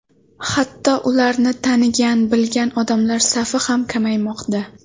Hatto ularni tanigan, bilgan odamlar safi ham kamaymoqda.